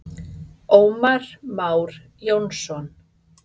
Ómar Már Jónsson.